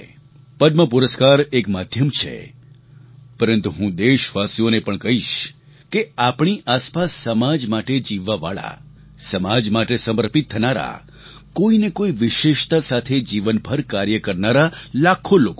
પદ્મ પુરસ્કાર એક માધ્યમ છે પરંતુ હું દેશવાસીઓને પણ કહીશ કે આપણી આસપાસ સમાજ માટે જીવવાવાળા સમાજ માટે સમર્પિત થનારા કોઈને કોઈ વિશેષતા સાથે જીવનભર કાર્ય કરનારા લાખો લોકો છે